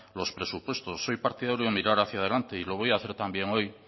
los presupuestos soy partidario de mirar hacia delante y lo voy a hacer también hoy